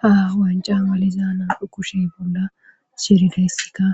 ha wancan maliza nam7u kushe bonda shirihessika